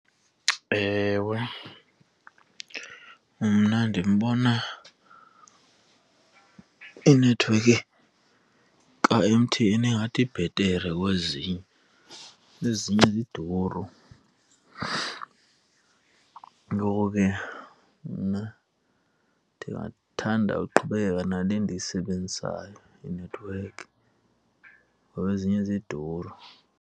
Ewe, mna ndimbona inethiwekhi ka-M_T_N ingathi ibhetere kwezinye, ezinye ziduru. Ngoko ke mna ndingathanda uqhubekeka nale ndiyisebenzisayo inethiwekhi ngoba ezinye ziduru.